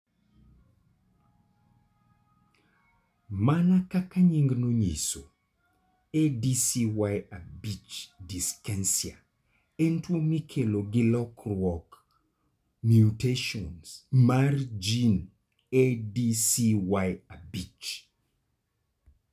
Mana kaka nyingno nyiso, ADCY5 dyskinesia en tuwo mikelo gi lokruok (mutations) e ADCY5 gene.